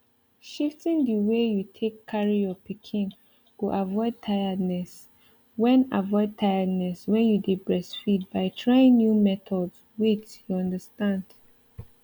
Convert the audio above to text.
shifting the way you take carry your pikin go avoid tiredness when avoid tiredness when you dey breastfeed by trying new methods wait you understand